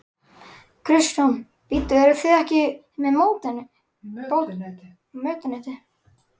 Kristján: Bíddu, eruð þið ekki með mötuneyti?